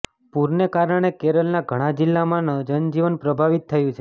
પૂરને કારણે કેરલના ઘણા જિલ્લામાં જનજીવન પ્રભાવિત થયું છે